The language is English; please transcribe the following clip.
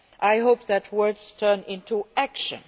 I hope that words turn into action.